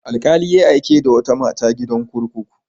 Wani alƙali ya aike da wata mata gidan kurkuku.